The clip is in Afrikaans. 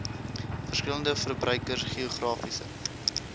verskillende verbruikers geografiese